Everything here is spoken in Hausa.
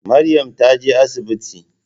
Maryam ta je asibiti.